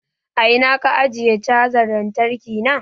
A ina ka ajiye canza lantarki na?